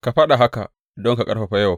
Ka faɗa haka don ka ƙarfafa Yowab.